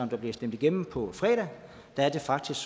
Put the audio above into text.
bliver stemt igennem på fredag er det faktisk